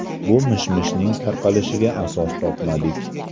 Bu mish-mishning tarqalishiga asos topmadik.